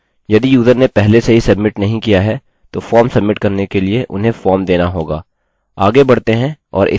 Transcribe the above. यदि यूज़र ने पहले से ही सब्मिट नहीं किया है तो फॉर्म सब्मिट करने के लिए उन्हें फॉर्म देना होगा